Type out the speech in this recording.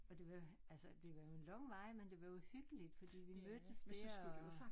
Og det var altså det var jo en lang vej men det var jo hyggeligt fordi vi mødtes dér og